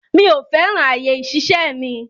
Mi ò fẹ́ràn àyè ìṣiṣẹ́ mi.